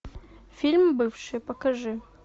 фильм бывшие покажи